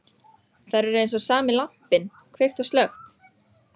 Þær eru eins og sami lampinn, kveikt og slökkt.